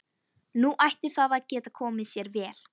Nú ætti það að geta komið sér vel.